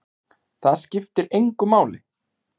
Það skiptir engu máli!